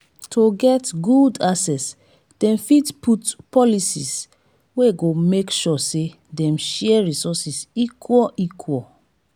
to get good access dem fit put policies wey go make sure say dem share resources equal equal